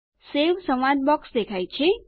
save સંવાદ box દેખાય છે